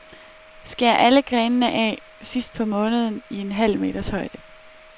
Skær alle grenene af sidst på måneden i en halv meters højde.